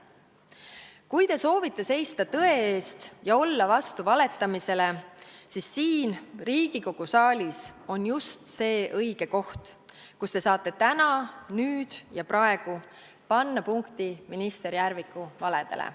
Kui te soovite seista tõe eest ja olla vastu valetamisele, siis siin, Riigikogu saalis, on just see õige koht, kus te saate täna, nüüd ja praegu panna punkti minister Järviku valedele.